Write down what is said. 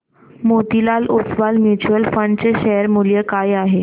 Motilal Oswal mutual fund चे share मूल्य काय आहे सांगा